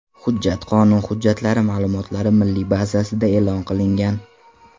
Hujjat qonun hujjatlari ma’lumotlari milliy bazasida e’lon qilingan.